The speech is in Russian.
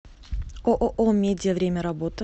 ооо медиа время работы